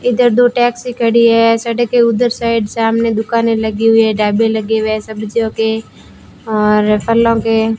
इधर दो टैक्सी खड़ी है सड़क के उधर साइड सामने दुकानें लगी हुई है ढाबे लगे हुए है सब्जियों के और फलों के।